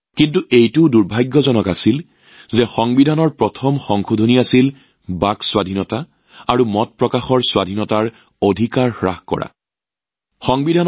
কিন্তু এইটো দুৰ্ভাগ্যজনক কথা যে সংবিধানৰ প্ৰথম সংশোধনীটো বাক স্বাধীনতা আৰু মত প্ৰকাশৰ স্বাধীনতা বাতিল কৰাৰ সৈতে জড়িত আছিল